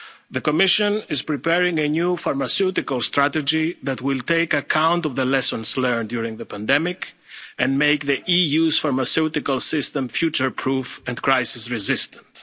resilience. The Commission is preparing a new pharmaceutical strategy that will take account of the lessons learned during the pandemic and make the EU's pharmaceutical system future proof and crisis